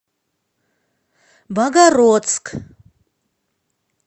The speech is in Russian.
богородск